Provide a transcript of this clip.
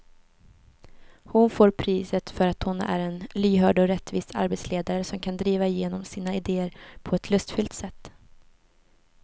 Hon får priset för att hon är en lyhörd och rättvis arbetsledare som kan driva igenom sina idéer på ett lustfyllt sätt.